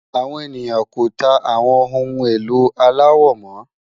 Àwọn ènìyàn kò tà àwọn ohun ẹ̀lò aláwọ̀ mo